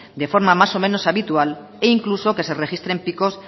de forma más o menos habitual e incluso que se registren picos